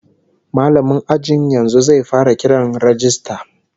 Mallamin ajin yanzu zai fara kiran rajista